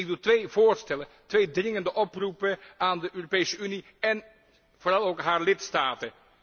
Ik doe twee voorstellen, twee dringende oproepen aan de Europese Unie en vooral ook haar lidstaten.